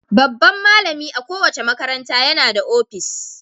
Babban malami a kowace makaranta yana da opis.